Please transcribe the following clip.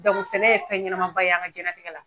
sɛnɛ ye fɛn ɲɛnaba ye an ka jiyɛn latigɛ la.